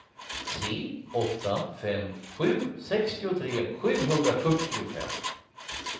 tre åtta fem sju sextiotre sjuhundrafyrtiofem